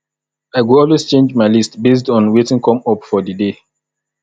i go always change my list based on wetin come up for di day